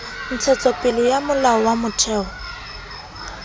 ntshetsopele ya molao wa motheo